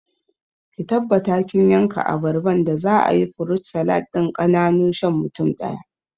Ki tabbata kin yanka abarban da za'ayi furut salad ɗin ƙananu shan mutum ɗaya